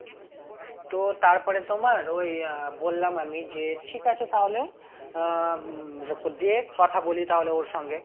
তো তারপরে তোমার ওই আহ বললাম আমি যে ঠিক আছে তাহলে আহ উম দে কথা বলি তাহলে ওর সঙ্গে